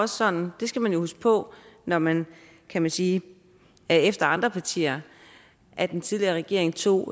sådan og det skal man jo huske på når man kan man sige er efter andre partier at den tidligere regering tog